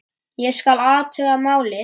Ég skal athuga málið